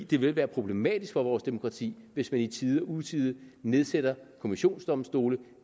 det vil være problematisk for vores demokrati hvis man i tide og utide nedsætter kommissionsdomstole